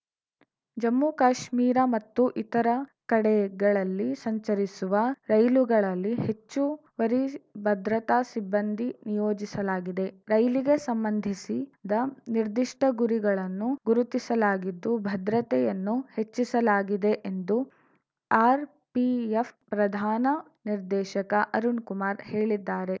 ಜಮ್ಮು ಕಾಶ್ಮೀರ ಮತ್ತು ಇತರ ಕಡೆಗಳಲ್ಲಿ ಸಂಚರಿಸುವ ರೈಲುಗಳಲ್ಲಿ ಹೆಚ್ಚುವರಿ ಭದ್ರತಾ ಸಿಬ್ಬಂದಿ ನಿಯೋಜಿಸಲಾಗಿದೆ ರೈಲಿಗೆ ಸಂಬಂಧಿಸಿದ ನಿರ್ದಿಷ್ಟಗುರಿಗಳನ್ನು ಗುರುತಿಸಲಾಗಿದ್ದು ಭದ್ರತೆಯನ್ನು ಹೆಚ್ಚಿಸಲಾಗಿದೆ ಎಂದು ಆರ್‌ಪಿಎಫ್‌ ಪ್ರಧಾನ ನಿರ್ದೇಶಕ ಅರುಣ್‌ ಕುಮಾರ್‌ ಹೇಳಿದ್ದಾರೆ